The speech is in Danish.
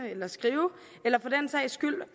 og skrive eller